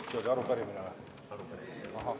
Kas see oli arupärimine?